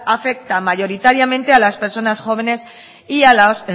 afecta mayoritariamente a las personas jóvenes y a los